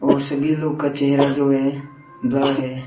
और सभी लोग का चेहरा जो है ब्लर है।